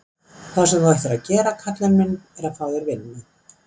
Það sem þú ættir að gera karlinn minn, er að fá þér vinnu.